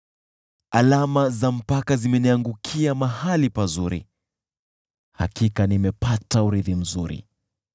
Alama za mipaka zimeniangukia mahali pazuri, hakika nimepata urithi mzuri.